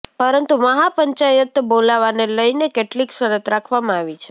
પરંતુ મહાપંચાયત બોલાવાને લઇને કેટલીક શરત રાખવામાં આવી છે